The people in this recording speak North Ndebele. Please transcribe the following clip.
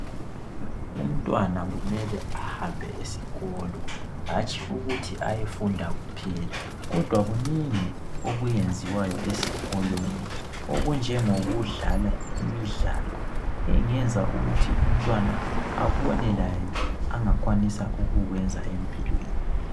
Umntwana kumele ahambe esikolo hatshi ukuthi ayefunda kuphela kodwa kunengi okuyenziwayo esikolo okunjengokudlala imidlalo engiyenza ukuthi umntwana abone laye angakwanisa ukukuwenza empilweni